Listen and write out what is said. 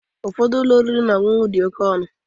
Ụfọdụ ụlọ oriri na ọṅụṅụ dị oke ọnụ